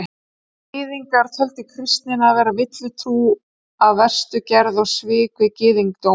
Gyðingar töldu kristnina vera villutrú af verstu gerð og svik við gyðingdóm.